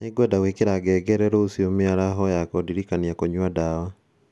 Nĩ ngwenda gwikira ngengere rũciũ mĩaraho ya kũndiririkanagia kũnyua ndawa .